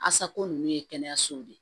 Asako nunnu ye kɛnɛyasow de ye